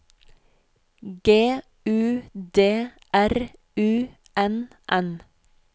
G U D R U N N